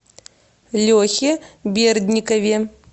лехе бердникове